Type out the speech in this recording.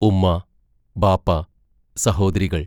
ഉമ്മ, ബാപ്പ, സഹോദരികൾ.